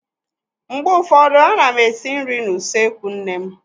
Mgbe ụfọdụ a na m esi nri n'usekwu nne m.